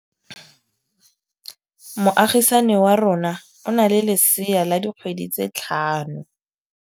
Moagisane wa rona o na le lesea la dikgwedi tse tlhano.